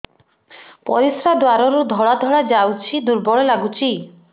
ପରିଶ୍ରା ଦ୍ୱାର ରୁ ଧଳା ଧଳା ଯାଉଚି ଦୁର୍ବଳ ଲାଗୁଚି